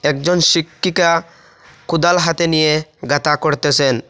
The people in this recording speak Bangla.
একজন শিক্ষিকা কোদাল হাতে নিয়ে গাঁথা করতেসেন।